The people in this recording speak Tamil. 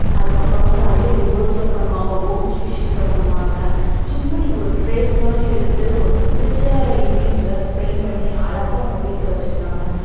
அதுக்கு அப்புறம் வந்து அதுலே reverse ல பண்ணுவாங்க ohbsheet ல பண்ணுவாங்க சும்மா நீங்க ஒரு trace மாதிரி எடுத்து உங்களுக்குபுடிச்ச image அஹ் paint பண்ணி அழகா வீட்ல வச்சுக்களாங்க